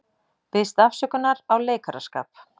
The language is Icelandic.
Biðst afsökunar á leikaraskap